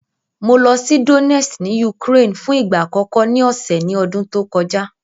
Mo lọ sí Donest ní Ukraine fún ìgbà àkọ́kọ́ ní ọ̀sẹ̀ ní ọdún tó kọjá.